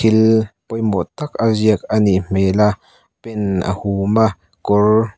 thil pawimawh tak a ziak anih hmel a pen a hum a kawr--